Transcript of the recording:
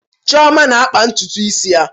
Chioma na-akpa ntutu isi ya.